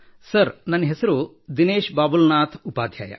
sir ನನ್ನ ಹೆಸರು ದಿನೇಶ್ ಬಾಬುಲ್ನಾಸಥ್ ಉಪಾಧ್ಯಾಯ